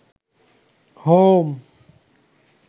home